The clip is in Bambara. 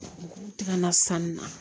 K'u tɛgɛ na sanu na